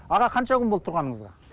аға қанша күн болды тұрғаныңызға